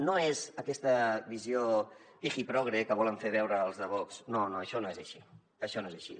no és aquesta visió pijiprogre que volen fer veure els de vox no no això no és així això no és així